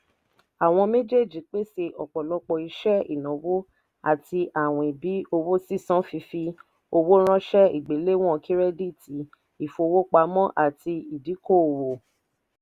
àwọn méjéèjì pèsè ọ̀pọ̀lọpọ̀ iṣẹ́ ìnáwó àti àwìn bí owó sísan fífi owó ránṣẹ́ ìgbéléwọ̀n kírẹ́díìtì ìfọwọ́pamọ́ àti ìdíkò-òwò.